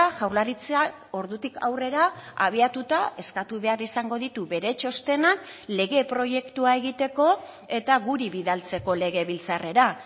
jaurlaritzak ordutik aurrera abiatuta eskatu behar izango ditu bere txostenak lege proiektua egiteko eta guri bidaltzeko legebiltzarrera